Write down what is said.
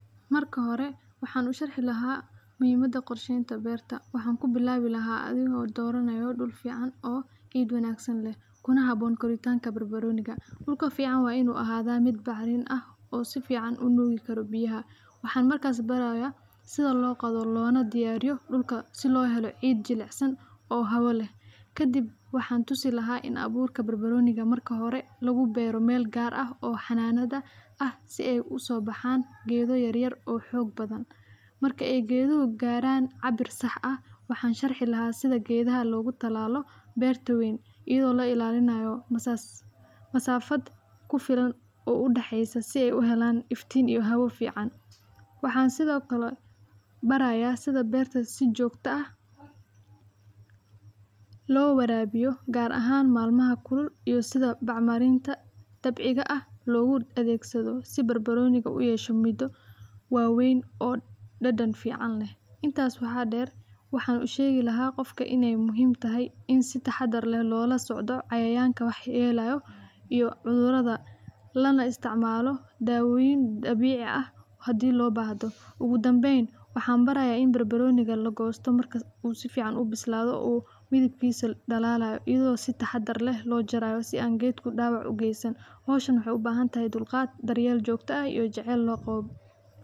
Maraka xore, waxan usharxi laxaa muxiimada qorsheynta berta, waxan kubilawi laxaa, adhigo doranayo dul fican oo ciid wanagsan leh, kuna xaboon koritanka barbaroniga, duulka fican wa inu axada mid bacrin ah oo su fican u dugikaro biyaxa, waxan markas baraya si loqoodo lonadiyariyo duulka, si loxilo ciid jilicsan oo xaabo leh, kadib waxan tusilaxaa in aburka barbaroniga marka xore lugubero mel gaar ah oo xananada ah, si ay u sobaxan geedo yaryar oo xoog badan, marki ay geduxu qaran cabir sax ah, waxan sharci laxaa sida gedaxa logutalalo berta ween, idoo lailalinay masas masaafad kufilan oou daxeysa si ay uxelan iftin iyo xawo fican , waxan sidhokale baraya sida berta si jogta ah, lowarawiyo gaar ahan malmaha kulul iyo sidha bacmarinta dabciga ah loguadegsado, sii barbaroniga u uyesho mid wawen oo dadan fican leh, intas waxa deer waxan ushegi laxa gofki inay muxiim taxay, in si taxadaar leh lolasocdo cayayanka waxyelayo iyo cuduradha, lanaisticmalo dawoyin dabicii ah, xadhii lobaxdo, ogudambeyn waxan baraya in barbaroniga lagosto marku sufican u bislado umidibkisa uu dalalayo iyado si taxadar leh lojarayo, sii an geedku dawac ugeysan, xowshan waxay ubaxantaxay dulgaad , daryel jogta ha iyo jacel logawo.